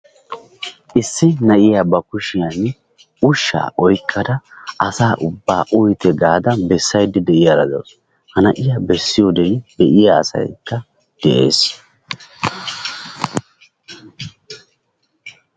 Issi na'iya ba kushshiyan ushshaa oykkada asa ubbaa uyitte gaada bessayda diyaara de'awusu, ha na'iya bessiyode be'iya asaykka de'ees,